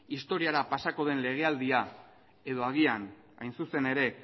historiara pasako den legealdia edo agian hain zuzen ere